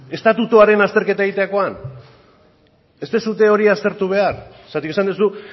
estatutuaren azterketa egiterakoan ez duzue hori aztertu behar zergatik esan duzu